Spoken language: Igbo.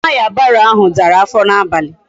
Taya barrow ahu dara afo na abali